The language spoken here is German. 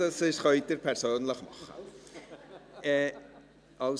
Das können Sie persönlich tun.